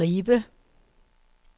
Ribe